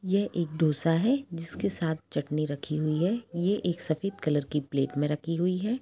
यह एक डोसा है जिसके साथ चटनी रखी हुई है ये एक सफेद कलर की प्लेट में रखी हुई हैं।